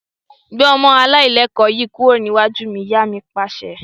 Gbé ọmọ alailẹkọ̀ yìí kúrò níwájú mi! Ìyá mi Pàṣẹ.